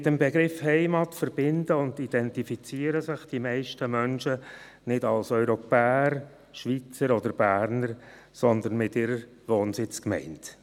Mit dem Begriff «Heimat» verbinden und identifizieren sich die meisten Menschen nicht als Europäer, Schweizer oder Berner, sondern mit ihrer Wohnsitzgemeinde.